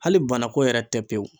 Hali bana ko yɛrɛ tɛ pewu.